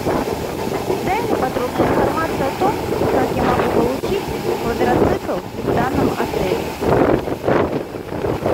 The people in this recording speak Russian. дай мне подробную информацию о том как я могу получить квадроцикл в данном отеле